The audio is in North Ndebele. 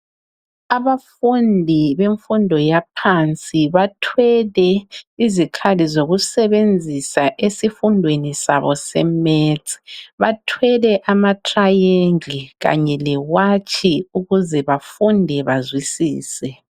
Abafundi bemfundo yaphansi bathwele izikhali zokusebenzisa esifundweni sabo seMaths. Bathwele amatriangle kanye lewatshi ukuze bafunde bazwisise.